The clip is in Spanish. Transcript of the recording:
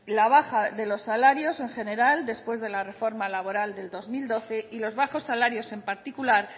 la baja de los salarios en general después de la reforma laboral del dos mil doce y los bajos salarios en particular